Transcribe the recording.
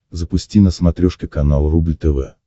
запусти на смотрешке канал рубль тв